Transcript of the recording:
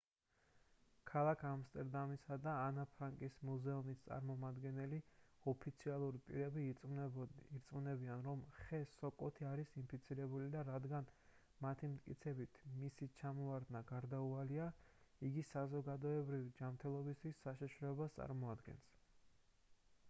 ქალაქ ამსტერდამისა და ანა ფრანკის მუზეუმის წარმომადგენელი ოფიციალური პირები ირწმუნებიან რომ ხე სოკოთი არის ინფიცირებული და რადგან მათი მტკიცებით მისი ჩამოვარდნა გარდაუვალია იგი საზოგადოებრივი ჯანმრთელობისთვის საშიშროებას წარმოადგენს